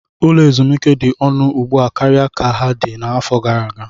Ụlọ ezumike dị ọnụ ugbu a karịa ka ha dị n'afọ gara aga.